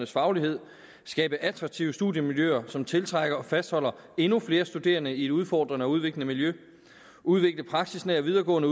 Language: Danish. faglighed skabe attraktive studiemiljøer som tiltrækker og fastholder endnu flere studerende i et udfordrende og udviklende miljø udvikle praksisnære videregående